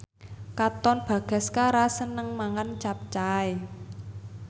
Katon Bagaskara seneng mangan capcay